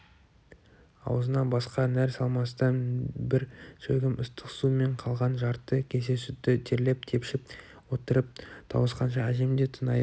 аузына басқа нәр салмастан бір шәугім ыстық су мен қалған жарты кесе сүтті терлеп-тепшіп отырып тауысқанша әжем де тыңайып